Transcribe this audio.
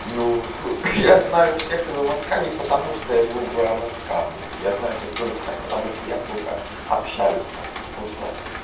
ну я знаю всех из с к не потому что я живу в с к блядь я знаю всех из с к потому что я сука общаюсь со всеми потому что